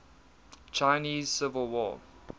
chinese civil war